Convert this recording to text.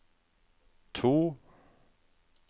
to